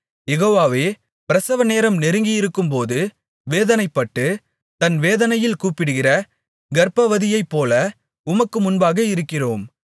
யெகோவாவே பிரசவநேரம் நெருங்கியிருக்கும்போது வேதனைப்பட்டு தன் வேதனையில் கூப்பிடுகிற கர்ப்பவதியைப்போல உமக்கு முன்பாக இருக்கிறோம்